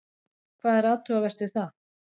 Hvað er athugavert við það?